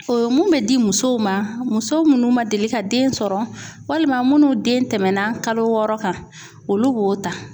O ye mun bɛ di musow ma muso minnu man deli ka den sɔrɔ walima minnu den tɛmɛnna kalo wɔɔrɔ kan olu b'o ta.